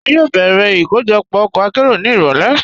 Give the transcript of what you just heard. Wọn yóò bẹ̀rẹ̀ ikojọpọ ọkọ̀ àkéró ni irọ̀lẹ̀.